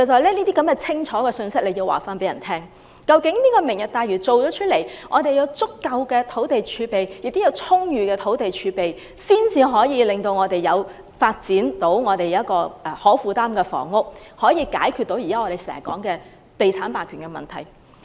政府必須清楚告知市民，"明日大嶼"完成後，我們會有足夠而且充裕的土地儲備，屆時才可發展可負擔的房屋，解決我們經常說的地產霸權問題。